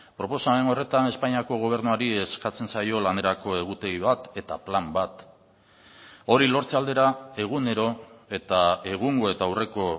proposamen horretan espainiako gobernuari eskatzen zaio lanerako egutegi bat eta plan bat hori lortze aldera egunero eta egungo eta aurreko